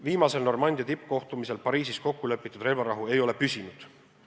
Viimasel Normandia neliku tippkohtumisel Pariisis kokku lepitud relvavarahu ei ole püsinud.